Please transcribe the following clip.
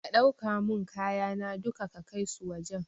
Ka ɗauka mun kayana duka ka kaisu wajan